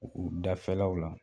U dafɛlaw la.